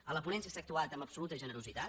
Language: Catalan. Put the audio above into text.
a la ponència s’ha actuat amb absoluta generositat